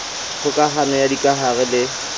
kgoka hano ya dikahare le